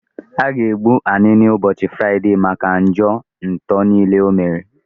A ga egbu Anini ụbọchị Fraịdee maka njọ nto niile o mere